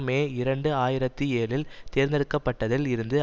மே இரண்டு ஆயிரத்தி ஏழில் தேர்ந்தெடுக்க பட்டதில் இருந்து